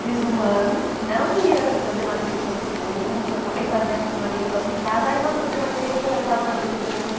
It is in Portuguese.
Fiz um ano, não ia fazer matrícula para o segundo, acabei fazendo porque uma amiga passou em casa, ai vamos fazer matrícula, eu estava na dúvida, eu fui.